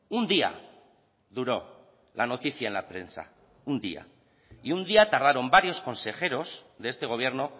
un día duró la noticia en la prensa un día y un día tardaron varios consejeros de este gobierno